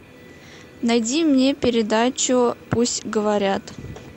найди мне передачу пусть говорят